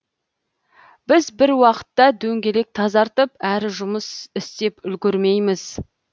біз бір уақытта дөңгелек тазартып әрі жұмыс істеп үлгермейміз